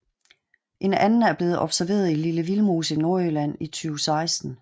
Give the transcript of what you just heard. En anden er blevet observeret i Lille Vildmose i Nordjylland i 2016